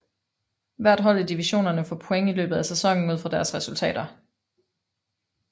Hvert hold i divisionerne får point i løbet af sæsonen ud fra deres resultater